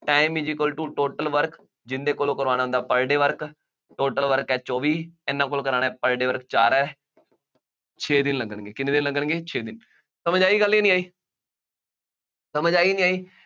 time is equal to total work ਜਿਹਦੇ ਕੋਲੋਂ ਕਰਵਾਉਣਾ ਉਹਦਾ per day work ਹੈ ਚੌਵੀ, ਇਹਨਾ ਕੋਲ ਕਰਾਉਣਾ ਹੈ per day work ਚਾਰ ਹੈ ਛੇ ਦਿਨ ਲੱਗਣਗੇ, ਕਿੰਨੇ ਦਿਨ ਲੱਗਣਗੇ, ਛੇ ਦਿਨ, ਸਮਝ ਆਈ ਗੱਲ ਦੀ ਨਹੀਂ ਆਈ, ਸਮਝ ਆਈ ਨਹੀਂ ਆਈ